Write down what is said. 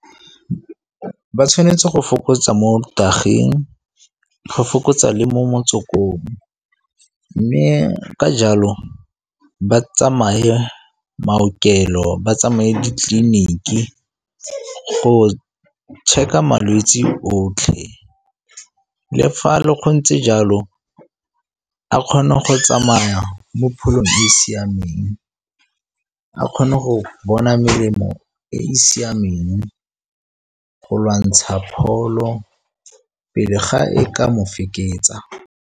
Ba tshwanetse go fokotsa mo dagga-eng, go fokotsa le mo motswakong. Mme ka jalo ba tsamaye maokelo ba tsamaye ditleliniki go check-a malwetsi otlhe. Le fa le go ntse jalo a kgone go tsamaya mo pholo e e siameng, a kgone go bona melemo e e siameng, go lwantsha pholo pele ga e ka mo feketsa.